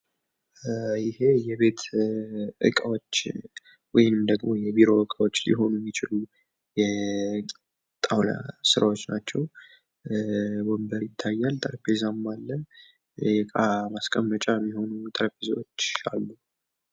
ይህ የቤት እቃዎች ወይም የቢሮ እቃዎች ሊሆኑ ይችላሉ የጣውላ ስራወች ሲሆኑ፤ ወንበር ፣ ጠረንጴዛ እንዲሁም የእቃ ማስቀመጫዎች ይገኛሉ።